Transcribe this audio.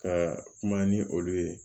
Ka kuma ni olu ye